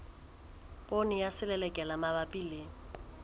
poone ya selelekela mabapi le